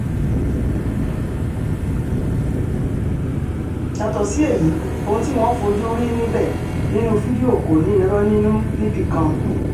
yàtọ̀ sí èyí ohun tí wọ́n fojú rí níbẹ̀ nínú fídíò kò ní irọ́ nínú níbì kan